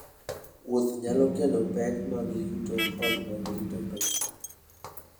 Wuoth nyalo kelo pek mag yuto koda mag rito pesa.